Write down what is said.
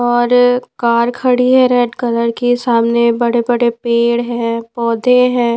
और कार खड़ी है रेड कलर की सामने बड़े-बड़े पेड़ हैं पौधे हैं।